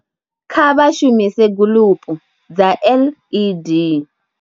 Kha vha shumise guḽupu dza LED.